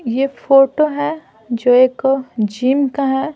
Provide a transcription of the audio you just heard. ये फोटो है जो एक जिम का है।